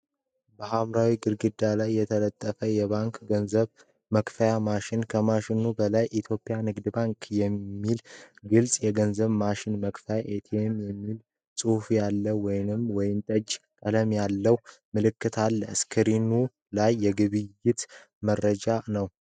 በሐምራዊ ግድግዳ ላይ የተገጠመ የባንክ ገንዘብ መክፈያ ማሽን፤ ከማሽኑ በላይ፣ "የኢትዮጵያ ንግድ ባንክ የግልፅ የገንዘብ ክፍያ ማሽን (ATM)" የሚል ጽሑፍ ያለው ወይን ጠጅ ቀለም ያለው ምልክት አለ። ስክሪኑ ላይ የግብይት መረጃ ነው።